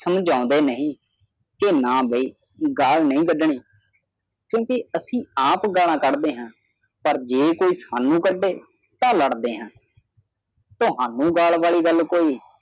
ਸਮਝਾਉਂਦੇ ਨਹੀਂ ਕੇ ਨਾ ਬਈ ਗਾਲ ਨਹੀਂ ਕੱਢਣੀ ਕਿਉਂਕਿ ਅਸੀਂ ਆਪ ਗਾਲਾਂ ਕੱਢਦੇ ਹਾਂ ਪਰ ਜੇ ਕੋਈ ਸਾਨੂੰ ਕੰਢੇ ਤੇ ਲੜਦੇ ਹਾਂ। ਤੁਹਾਨੂੰ ਗਾਲ ਵਾਲੀ ਗੱਲ ਹੋਈ